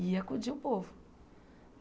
E acudia o povo.